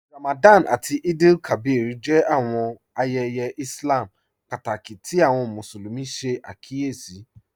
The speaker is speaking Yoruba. Ramadan àtí Eid-el-Kabir jẹ́ àwọn ayéyé Ìslám pátákí tí àwọn Musulumi ṣẹ̀ àkíyèsí